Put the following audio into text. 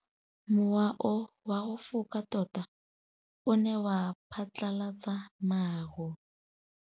Mowa o wa go foka tota o ne wa phatlalatsa maru.